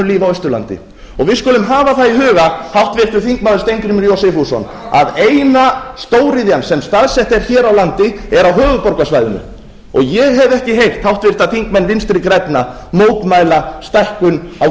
og við skulum hafa það í huga háttvirtur þingmaður steingrímur j sigfússon að eina stóriðjan sem staðsett er hér á landi er á höfuðborgarsvæðinu og ég hef ekki heyrt háttvirtir þingmenn vinstri grænna mótmæla stækkun á